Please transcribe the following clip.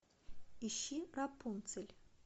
ищи рапунцель